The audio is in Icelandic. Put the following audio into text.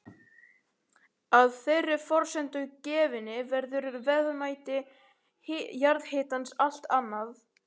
Að þeirri forsendu gefinni verður verðmæti jarðhitans allt annað.